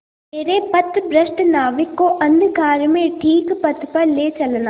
मेरे पथभ्रष्ट नाविक को अंधकार में ठीक पथ पर ले चलना